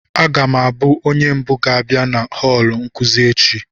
Aga m abụ onye mbụ ga-abịa na họọlụ nkuzi echi